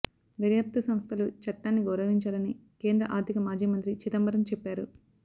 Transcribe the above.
దర్యాప్తు సంస్థలు చట్టాన్ని గౌరవించాలని కేంద్ర ఆర్థిక మాజీ మంత్రి చిదంబరం చెప్పారు